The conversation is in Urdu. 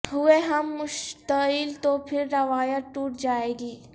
ہوئے ہم مشتعل تو پھر روایت ٹوٹ جائے گی